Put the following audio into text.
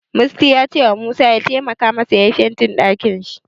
Musty ya cewa Musa ya taimaka masa yayi fentin ɗakin.